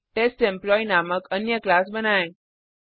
test employee नामक अन्य class बनाएँ